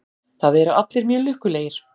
Það eru allir mjög lukkulegir.